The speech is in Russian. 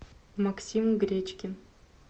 максим гречкин